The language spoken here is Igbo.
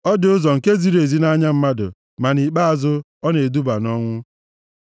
Ọ dị ụzọ nke ziri ezi nʼanya mmadụ, ma nʼikpeazụ ọ na-eduba nʼọnwụ.